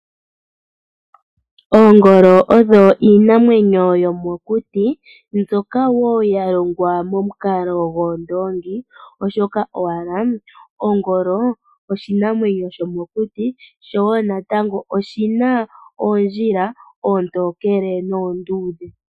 Oongolo odho iinamwenyo yomokuti mbyoka ya shitwa momukalo goondoongi, oshoka owala ongolo oshinamwenyo shomokuti sho wo natango oshi na oondjila oontookele noonduudhe.